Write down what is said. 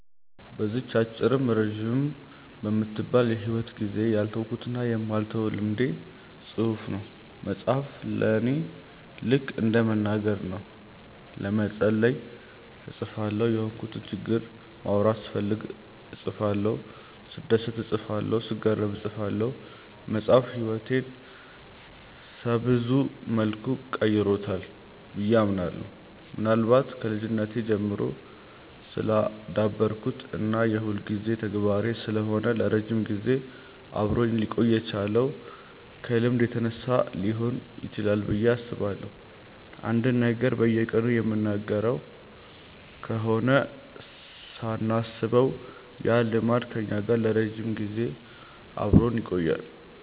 በዚህች አጭርም ረጅምም በማትባል የሂወት ጊዜዬ ያልተውኩትና የማልተወው ልምዴ መጻፍ ነው። መጻፍ ለኔ ልከ እንደ መናገር ነው። ለመጸለይ እጽፋለሁ፤ የሆንኩትን ችግር ማውራት ስፈልግ እጽፋለሁ፤ ስደሰት እጽፋለሁ፤ ስገረም እጽፋለሁ። መጻፍ ህይወቴን ሰብዙ መልኩ ቀርጾታል ብዬ አምናለሁ። ምናልባት ከልጅነቴ ጀምሮ ስላዳበርኩት እና የሁልጊዜ ተግባሬ ስለሆነ ለረጅም ጊዜ አብሮኝ ሊቆይ የቻለው ከልምድ የተነሳ ሊሆን ይችላል ብዬ አስባለሁ። አንድን ነገር በየቀኑ የምናደርገው ከሆነ ሳናስበው ያ ልማድ ከኛ ጋር ለረጅም ጊዜ አብሮን ይቆያል።